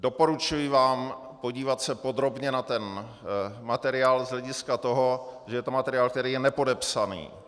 Doporučuji vám podívat se podrobně na ten materiál z hlediska toho, že je to materiál, který je nepodepsaný.